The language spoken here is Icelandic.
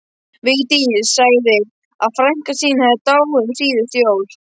Vigdís sagði að frænka sín hefði dáið um síðustu jól.